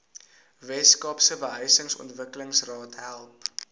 weskaapse behuisingsontwikkelingsraad help